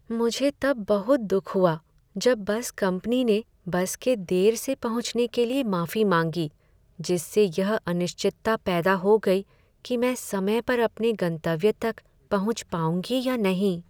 मुझे तब बहुत दुख हुआ जब बस कंपनी ने बस के देर से पहुँचने के लिए माफी मांगी, जिससे यह अनिश्चितता पैदा हो गई कि मैं समय पर अपने गंतव्य तक पहुंच पाऊँगी या नहीं।